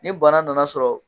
Ni bana nana sɔrɔ